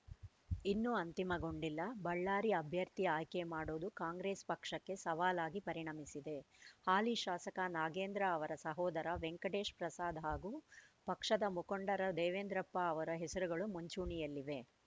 ಇನ್ನೂ ಅಂತಿಮಗೊಂಡಿಲ್ಲ ಬಳ್ಳಾರಿ ಅಭ್ಯರ್ಥಿ ಆಯ್ಕೆ ಮಾಡುವುದು ಕಾಂಗ್ರೆಸ್‌ ಪಕ್ಷಕ್ಕೆ ಸವಾಲಾಗಿ ಪರಿಣಮಿಸಿದೆ ಹಾಲಿ ಶಾಸಕ ನಾಗೇಂದ್ರ ಅವರ ಸಹೋದರ ವೆಂಕಟೇಶ್‌ ಪ್ರಸಾದ್‌ ಹಾಗೂ ಪಕ್ಷದ ಮುಖಂಡರ ದೇವೇಂದ್ರಪ್ಪ ಅವರ ಹೆಸರುಗಳು ಮುಂಚೂಣಿಯಲ್ಲಿವೆ